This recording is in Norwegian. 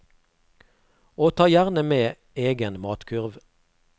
Og ta gjerne med egen matkurv.